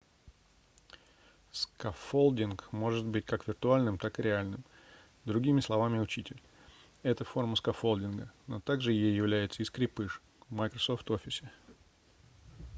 скаффолдинг может быть как виртуальным так и реальным. другими словами учитель — это форма скаффолдинга но также ей является и скрепыш в microsoft officе